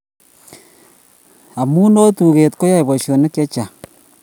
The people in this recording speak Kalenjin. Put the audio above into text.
Amu oo tuket koyae boisionik chechang